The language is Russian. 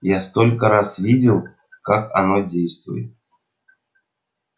я столько раз видел как оно действует